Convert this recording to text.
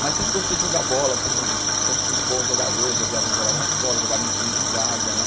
Mas sempre gostei de jogar bola, sempre sempre fui um bom jogador, jogava na escola, jogava em times de várzea, né?